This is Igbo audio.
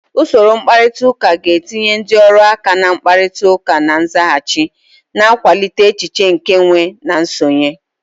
Usoro mkparịta ụka ga-etinye ndị ọrụ aka na mkparịta ụka na nzaghachi, na-akwalite echiche nke nwe na nsonye.